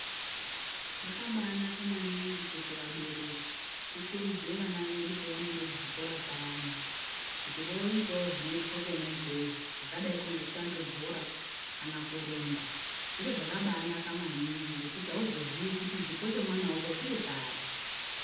Zvakabaanaka maningi kuti vabereki tikurudzire vana vedu pavanoende kuzvikora payana kuti vooitawo zvinoitwa kona ikweyo zvakadai kunge kutambe bhora kana kurumba. Zviro zvakabaanaka maningi ngekuti hauzoziyi kuti chipo chemwana wako chiri pari.